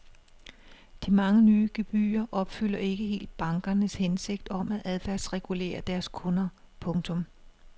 De mange nye gebyrer opfylder ikke helt bankernes hensigt om at adfærdsregulere deres kunder. punktum